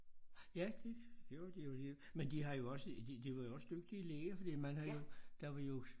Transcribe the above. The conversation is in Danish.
Ja det gjorde de jo men de har jo også de de var jo også dygtige læger fordi man har jo der var jo